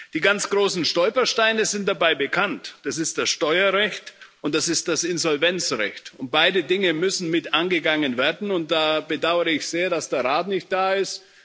Die ganz großen Stolpersteine sind dabei bekannt Das ist das Steuerrecht, und das ist das Insolvenzrecht. Beide Dinge müssen mit angegangen werden, und da bedauere ich sehr, dass der Rat nicht da ist.